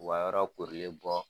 U ka yɔrɔ korilen bɔ.